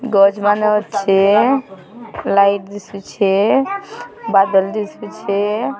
ଗଛ୍ ମାନେ ଅଛେ ଲାଇଟ୍ ଦିଶୁଛେ ବାଦଲ୍ଦି ଶୁଛେ।